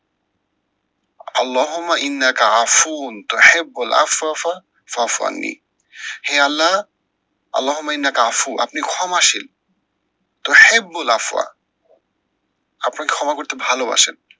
আল্লাহমা ইন্না কাহাফুন তাহে বোলা ফাফা ফাফানি। হে আল্লা আল্লাহমা ইন্না কাহাফুন, আপনি ক্ষমাশীল। তহে বোলা ফা আপনি ক্ষমা করতে ভালোবাসেন।